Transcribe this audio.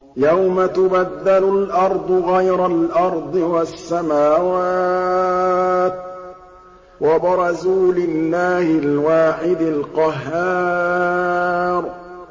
يَوْمَ تُبَدَّلُ الْأَرْضُ غَيْرَ الْأَرْضِ وَالسَّمَاوَاتُ ۖ وَبَرَزُوا لِلَّهِ الْوَاحِدِ الْقَهَّارِ